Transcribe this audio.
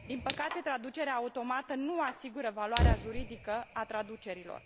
Din păcate, traducerea automată nu asigură valoarea juridică a traducerilor.